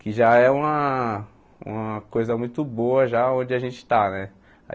Que já é uma uma coisa muito boa já onde a gente está né.